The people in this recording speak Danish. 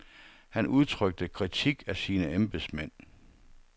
Han udtrykte kritik af sine embedsmænd.